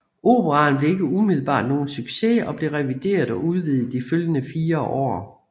Operaen blev ikke umiddelbart nogen succes og blev revideret og udvidet i de følgende fire år